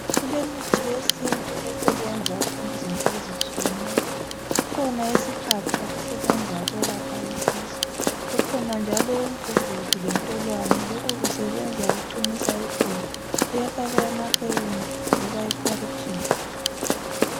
Kulemithi yesintu esebenza izinto ezitshiyeneyo kukhona isihaqa esilapha isisi kukhona njalo umgugudiu lentolwane lokho kusebenza ukuqinisa iqolo kuyafakwa emahewini loba ephorijini